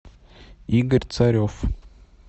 игорь царев